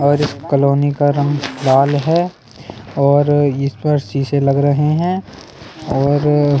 और इस कॉलोनी का रंग लाल है और इस पर शीशे लग रहे हैं और--